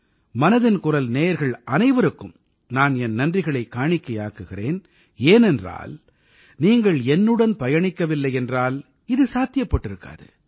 மனதின் குரல் நேயர்கள் அனைவருக்கும் நான் என் நன்றிகளைக் காணிக்கையாக்குகிறேன் ஏனென்றால் நீங்கள் என்னுடன் பயணிக்கவில்லையென்றால் இது சாத்தியப்பட்டிருக்காது